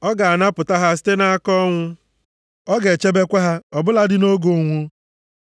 Ọ ga-anapụta ha site nʼaka ọnwụ. Ọ ga-echebekwa ha ọ bụladị nʼoge ụnwụ.